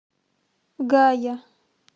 гая